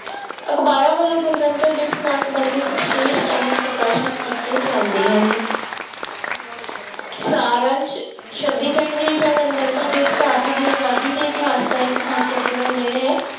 ਅਖ਼ਬਾਰਾਂ ਵੱਲੋਂ ਗਣਤੰਤਰ ਦਿਵਸ ਨਾਲ ਸੰਬੰਧਿਤ ਵਿਸ਼ੇਸ਼ ਅੰਕ ਪ੍ਰਕਾਸ਼ਿਤ ਕੀਤੇ ਜਾਂਦੇ ਹਨ ਸਾਰ ਅੰਸ ਛੱਬੀ ਜਨਵਰੀ ਜਾਂ ਗਣਤੰਤਰ ਦਿਵਸ ਭਾਰਤ ਦੀ ਆਜ਼ਾਦੀ ਦੇ ਇਤਿਹਾਸ ਦਾ ਇੱਕ ਮਹੱਤਵਪੂਰਨ ਦਿਨ ਹੈ।